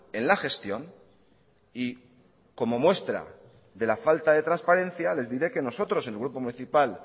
en la gestión y como muestra de la falta de transparencia les diré que nosotros en el grupo municipal